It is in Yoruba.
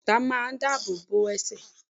Bẹ́ẹ̀ni bàtà máa dáàbò bo ẹsẹ̀